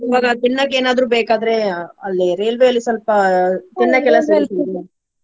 ತಿನ್ನೋಕ್ ಏನಾದ್ರು ಬೇಕಾದ್ರೆ ಅಲ್ಲಿ ರೇಲ್ವೆಲಿ ಸ್ವಲ್ಪ .